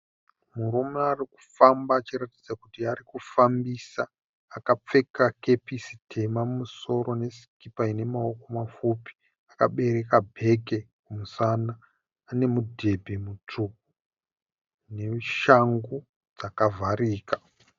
Murume arikufamba achiratidza kuti ari kufambisa. Akapfeka kepisi tema mumusoro nesikipa ine maoko mapfupi. Akabereka bheke kumusana. Ane mudhebhe mutsvuku neshangu dzakavharika.